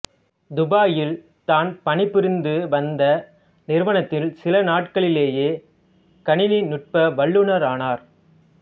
துபாயில் தான் பணிபுரிந்துவந்த நிறுவனத்தில் சில நாட்களிலேயே கணினி நுட்பவல்லுனரானார்